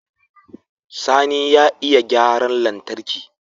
Sani ya iya gyaran lantarki